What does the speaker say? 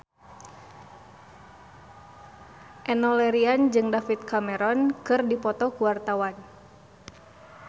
Enno Lerian jeung David Cameron keur dipoto ku wartawan